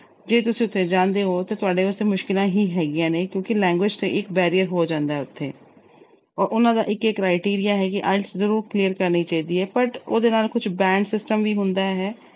ਜੇ ਤੁਸੀਂ ਉਥੇ ਜਾਂਦੇ ਓ ਤਾਂ ਤੁਹਾਡੇ ਵਾਸਤੇ ਮੁਸ਼ਕਲਾਂ ਹੀ ਹੈਗੀਆਂ ਨੇ ਕਿਉਂਕਿ language ਤਾਂ ਇੱਕ barrier ਹੋ ਜਾਂਦਾ ਉਥੇ। ਉਹਨਾਂ ਦਾ ਇੱਕ criteria ਹੈ ਕਿ IELTS ਜ਼ਰੂਰ clear ਕਰਨੀ ਚਾਹੀਦੀ ਆ। but ਉਹਦੇ ਨਾਲ ਕੁਝ band system ਵੀ ਹੁੰਦਾ ਹੈ।